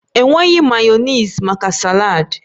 Enweghi mayonezi maka saladi